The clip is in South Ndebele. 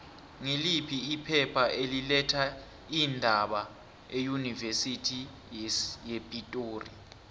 ngiliphi iphepha eli letha iindaba eunivesithi yepitori